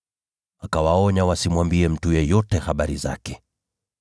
Yesu akawaonya wasimwambie mtu yeyote habari zake.